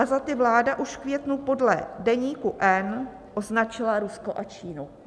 A za ty vláda už v květnu podle Deníku N označila Rusko a Čínu.